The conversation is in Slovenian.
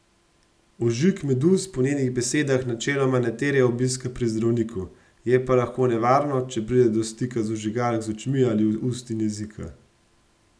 Ožig meduz po njenih besedah načeloma ne terja obiska pri zdravniku, je pa lahko nevarno, če pride do stika ožigalk z očmi ali ust in jezika.